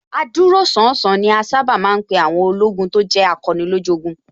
Adúróṣánṣán ni a sábà ma ń pè àwọn ológun tó jẹ́ akọni lójú ogun